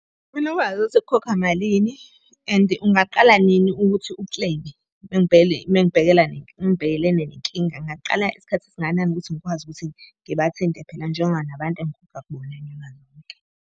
Mele wazi ukuthi kukhokhwa malini and ungaqala nini ukuthi u-claim-e. Uma ngibhekelene nenkinga, ngingaqala isikhathi esingakanani ukuthi ngikwazi ukuthi ngibathinte phela njenga nabantu .